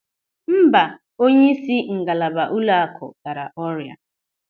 Mba, onyeisi ngalaba ụlọakụ dara ọrịa.